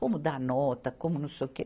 Como dar nota, como não sei o quê.